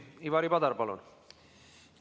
Ivari Padar, palun!